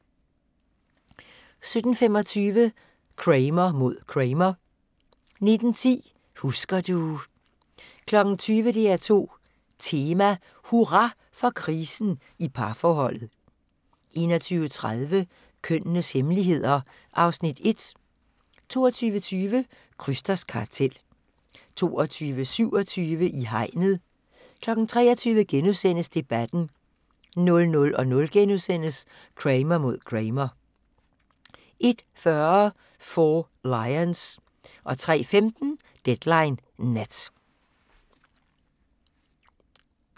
17:25: Kramer mod Kramer 19:10: Husker du ... 20:00: DR2 Tema: Hurra for krisen i parforholdet 21:30: Kønnenes hemmeligheder (Afs. 1) 22:20: Krysters Kartel 22:27: I hegnet 23:00: Debatten * 00:00: Kramer mod Kramer * 01:40: Four Lions 03:15: Deadline Nat